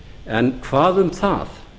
en hvað um það